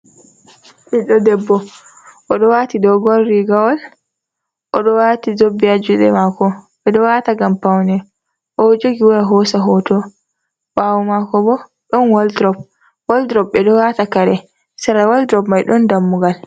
Ɓiɗɗo debbo! oɗo wati dogon rigawol, oɗo wati zobe ha juɗe mako; ɓedo wata ngam paune. Oɗo jogi waya hosa hoto ɓawo mako bo, ɗon walldrop. Walldrop ɓeɗo wata kare. Sera walldrop mai ɗon dammugal.